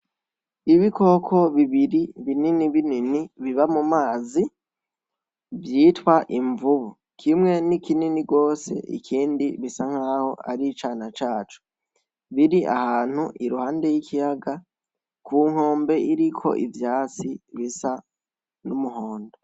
Ibikoko bibiri binini binini biba mu mazi vyitwa imvubu, kimwe ni kinini gose ikindi gisa nkaho ari icana caco, biri ahantu iruhande y'ikiyaga ku nkombe iriko ivyatsi bisa n'umuhondo.